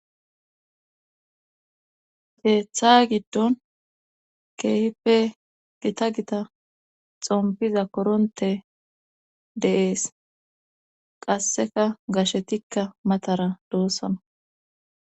keeththa giddon keehippe gita gita xompiza koronte de'ees qasseka gashetikka matara doossana